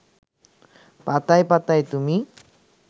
পাতায় পাতায় তুমি